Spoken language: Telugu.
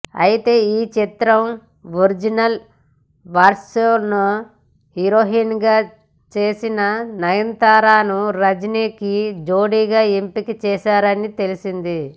అయితే ఈ చిత్రం ఒరిజినల్ వర్షన్లో హీరోయిన్గా చేసిన నయనతారను రజనీకి జోడీగా ఎంపికచేశారని తెలిసింది